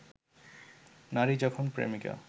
নারী যখন প্রেমিকা